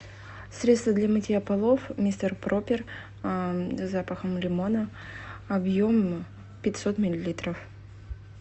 средство для мытья полов мистер пропер с запахом лимона объем пятьсот миллилитров